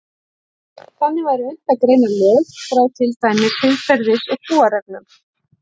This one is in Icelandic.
Þannig væri unnt að greina lög frá til dæmis siðferðis- og trúarreglum.